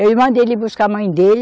Eu mandei ele buscar a mãe dele.